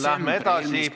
Läheme edasi.